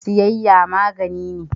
Siyayya magani ne.